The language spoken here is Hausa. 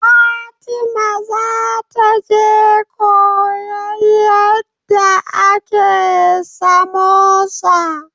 Fatima za ta je koyan yadda ake samosa